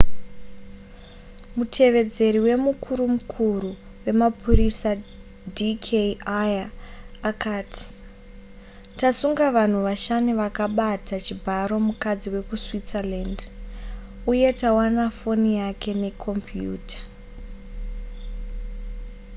mutevedzeri wemukurumukuru wemapurisa d k arya akati tasunga vanhu vashanu vakabata chibharo mukadzi wekuswitzerland uye tawana foni yake nekombiyuta